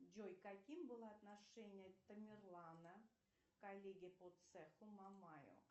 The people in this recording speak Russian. джой каким было отношение тамерлана к коллеге по цеху мамаю